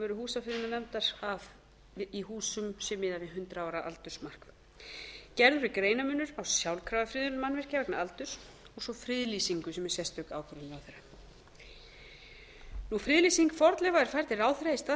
veru húsafriðunarnefndar að í húsum sé miðað við hundrað ára aldursmark gerður er greaanrmunur á sjálfkrafa friðun mannvirkja vegna aldurs og svo friðlýsingu sem er sérstök ákvörðun ráðherra sjöunda friðlýsing fornleifa er færð til ráðherra í stað þess að vera